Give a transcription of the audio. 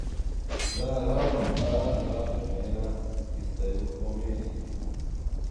Da, ravno ta dva primera, ki ste ju omenili ...